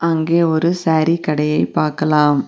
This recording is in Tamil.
அங்கே ஒரு சாரீ கடையை பாக்கலாம்.